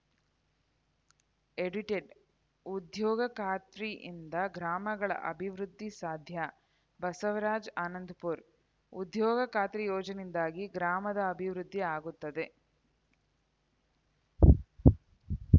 edited ಉದ್ಯೋಗ ಖಾತ್ರಿಯಿಂದ ಗ್ರಾಮಗಳ ಅಭಿವೃದ್ಧಿ ಸಾಧ್ಯ ಬಸವರಾಜ್‌ ಆನಂದಪುರ ಉದ್ಯೋಗ ಖಾತ್ರಿ ಯೋಜನೆಯಿಂದಾಗಿ ಗ್ರಾಮದ ಅಭಿವೃದ್ಧಿ ಆಗುತ್ತದೆ